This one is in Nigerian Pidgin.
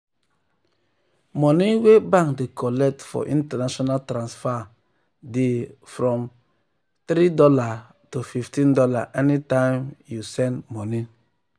mone wey bank dey collect for international transfer transfer dey dey from $3 to fifteen dollars anytime we you send money